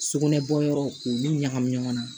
Sugunɛ bɔyɔrɔ k'olu ɲagami ɲɔgɔn na